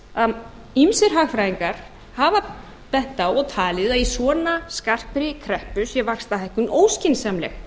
ýmsir hagfræðingar hafa bent á og talið að í svona skarpri kreppu sé vaxtahækkun óskynsamleg